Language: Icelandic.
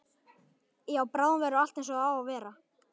Já, bráðum verður allt einsog það á að vera.